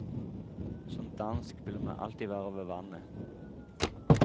Som dansk vil man alltid være ved vannet.